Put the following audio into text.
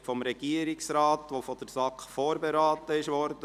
Dies ist ein Bericht des Regierungsrates, der von der SAK vorberaten wurde.